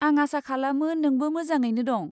आं आसा खालामो नोंबो मोजाङैनो दं!